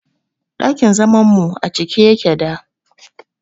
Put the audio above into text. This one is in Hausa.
Dakin zaman mu acike yake da